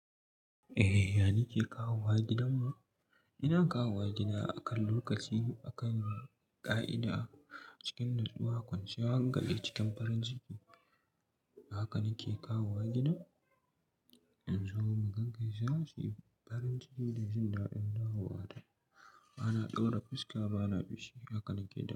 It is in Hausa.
Eh, yani ke kawowa gidan mu? Ina kawowa gida akan lokaci akan ƙa'ida cikin nutsuwa, kwanciyan hankali, cikin farin ciki. Haka nake kawowa gidan. In zo mu gaggaisi, za su yi farin ciki da jin daɗin dawowa ta, bana ɗaura fuska bana fushi. Haka nake gida.